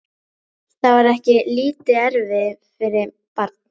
Það var ekki lítið erfiði fyrir barn.